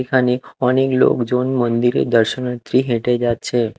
এখানে অনেক লোকজন মন্দিরের দর্শনাথ্রী হেঁটে যাচ্ছে ।